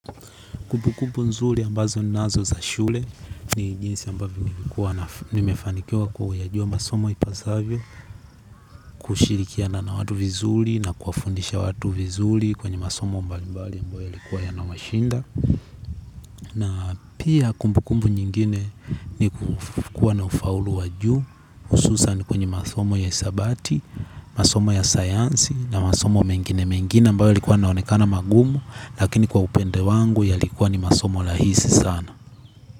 Kumbu kumbu nzuri ambazo ninazo za shule ni jinsi ambavyo nilikuwa na nimefanikiwa kuyajua masomo ipasavyo kushirikiana na watu vizuri na kuwafundisha watu vizuri kwenye masomo mbali mbali ambayo yalikuwa yanawashinda na pia kumbukumbu nyingine ni kuwa na ufaulu wa juu hususani kwenye masomo ya hisabati, masomo ya sayansi na masomo mengine mengine ambayo yalikuwa yaaonekana magumu lakini kwa upande wangu yalikuwa ni masomo rahisi sana. Kwa hivyo.